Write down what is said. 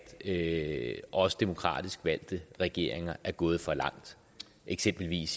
at også demokratisk valgte regeringer er gået for langt eksempelvis